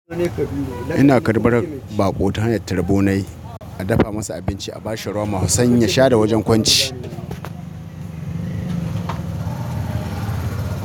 Ina karɓar baƙo ta hanyar tarbo nayi, a dafa masa abinci, a bashi roma, sanyi ya sha da wajen kwanci.